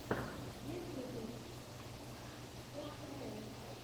первый выпуск кхл